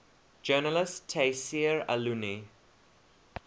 journalist tayseer allouni